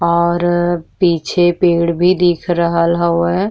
और पीछे पेड़ भी दिख रहल हउवे।